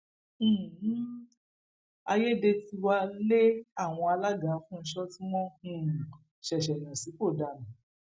um àyédètiwa lé àwọn alága àfúnsọ tí wọn um ṣẹṣẹ yàn sípò dànù